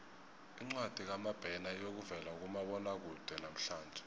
incwadi kamabena iyokuvela kumabonwakude namhlanje